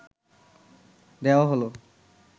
দেওয়া হলো